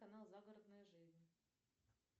канал загородная жизнь